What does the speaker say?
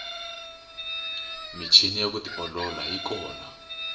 michini ya ku tiolola yi kona